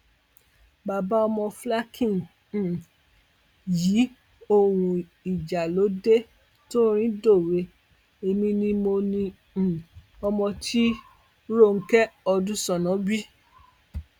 bàbá ọmọ flákíny um yí òun ìjà ló dé torin dọwé èmi ni mo ní um ọmọ tí ronke ọdúṣánà bí